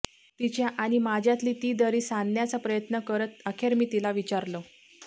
तिच्या आणि माझ्यातली ती दरी सांधण्याचा प्रयत्न करत अखेर मी तीला विचारल